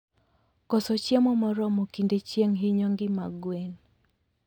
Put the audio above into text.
koso chiemo moromo kinde chieng hinyo ngima gwen